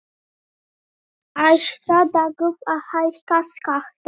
Ætlar Dagur að hækka skatta?